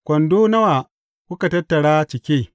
Kwando nawa kuka tattara cike?